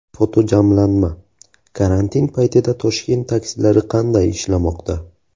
Fotojamlanma: Karantin paytida Toshkent taksilari qanday ishlamoqda?.